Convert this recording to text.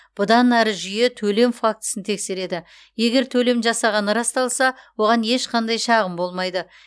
бұдан әрі жүйе төлем фактісін тексереді егер төлем жасағаны расталса оған ешқандай шағым болмайды